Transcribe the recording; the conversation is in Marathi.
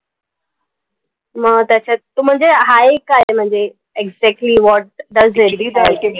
म, त्याच्यात म्हणजे हाये काय म्हणजे exactly what does very